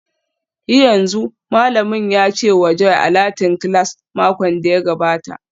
Yi yanzu!, Malamin ya ce wa Joy a Latin class makon da ya gabata